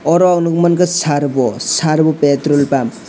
oro ang nukmankha servo servo petrol pump.